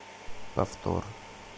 повтор